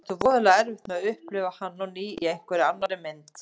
Ég átti voðalega erfitt með að upplifa hann á ný í einhverri annarri mynd.